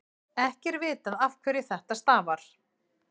ekki er vitað afhverju þetta stafar